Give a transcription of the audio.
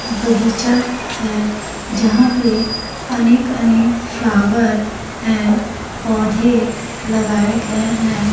बगीचा है जहां पे अनेक अनेक फ्लावर हैं पौधे लगाए गए हैं।